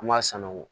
An b'a sanango